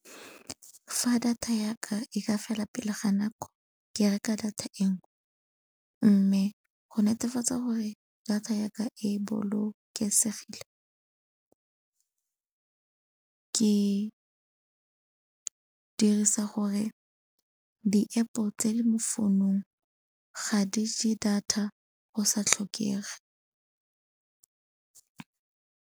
Fa data ya ka e ka fela pele ga nako ke reka data e nngwe. Mme go netefatsa gore data ya ka e bolokesegile ke dirisa gore di-App-o tse di mo founong ga di je data go sa tlhokege.